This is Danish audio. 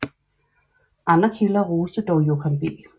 Andre kilder roste dog Joachim B